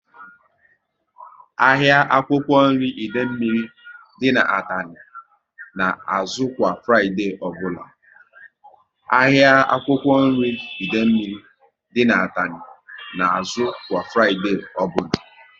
Ahịa akwụkwọ nri Idemili dị n'Atani na azụ kwa Fraịdee ọbụla